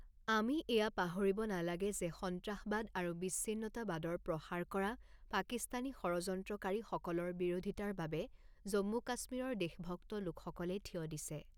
আমি এয়া পাহৰিব নালাগে যে সন্ত্ৰাসবাদ আৰু বিচ্ছিন্নতাবাদৰ প্ৰসাৰ কৰা পাকিস্তানী ষড়যন্ত্ৰকাৰীসকলৰ বিৰোধিতাৰ বাবে জম্মু কাশ্মীৰৰ দেশভক্ত লোকসকলে থিয় দিছে।